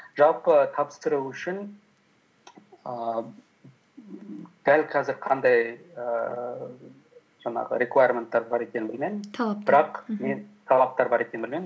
жалпы тапсыру үшін ііі дәл қазір қандай ііі жаңағы рекуаременттер бар екенін білмедім мен талаптар бар екенін білмедім